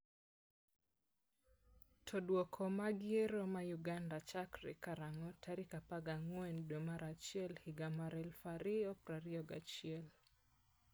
to Duoko mag yiero ma Uganda chakre karang'o tarik 14 dwe mar achiel higa mar 2021?